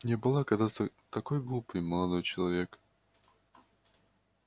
я была когда-то такой глупой молодой человек